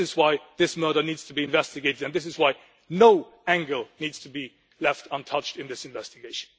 This is why this murder needs to be investigated. And this is why no angle needs to be left untouched in this investigation.